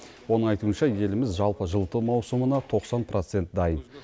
оның айтуынша еліміз жалпы жылыту маусымына тоқсан процент дайын